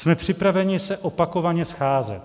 Jsme připraveni se opakovaně scházet.